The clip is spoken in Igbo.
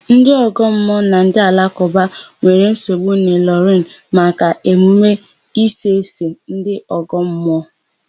Ndị ọgọmmụọ na ndị alakụba nwere nsogbu n'Ịlọrịn maka emume Isese ndị ọgọmmụọ.